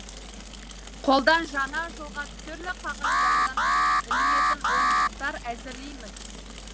қолдан жаңа жылға түрлі қағаздардан ілінетін ойыншықтар әзірлейміз